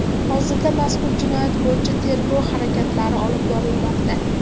Hozirda mazkur jinoyat bo‘yicha tergov harakatlari olib borilmoqda.